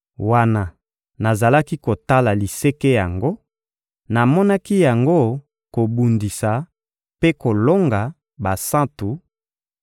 Wana nazalaki kotala liseke yango, namonaki yango kobundisa mpe kolonga basantu